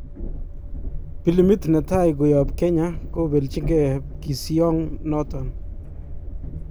Pilimiit netai koyaap Kenya kobeljikee pkisyoong noton.